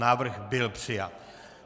Návrh byl přijat.